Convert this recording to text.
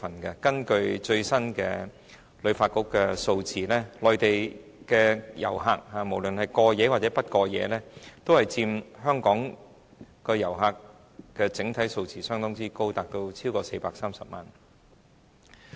根據香港旅遊發展局最新的數字，內地遊客——無論是過夜或不過夜——佔香港整體遊客數目相當高，超過430萬人。